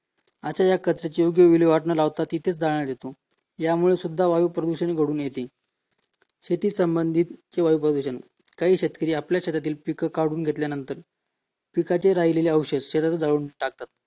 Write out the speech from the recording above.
आता या कचऱ्याची योग्य विल्हेवाट न लावता तिथेच जाळण्यात येतो यामुळे सुद्धा वायू प्रदूषण घडून येते शेतीसंबंधित pollution काही शेतकरी आपल्या शेतातील पीक काढून घेतल्यानंतर पिकाचे राहिलेले अवशेष शेतात जाऊन टाकतात